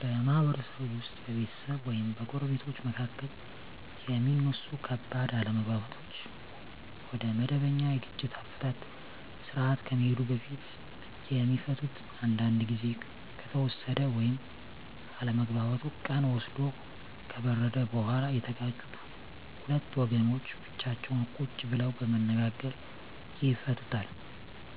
በማህበረሰብ ውስጥ በቤተሰብ ወይም በጎረቤቶች መካከል የሚነሱ ከባድ አለመግባባቶች ወደመበኛ የግጭት አፈታት ስርአት ከመሄዱ በፊት የሚፈቱት አንዳንዱ ግዜ ከተወሰደ ወይም አለመግባባቱ ቀን ወስዶ ከበረደ በኋላ የተጋጩት ሁለት ወገኖች ብቻቸውን ቁጭ ብለው በመነጋገር ይፈቱታል።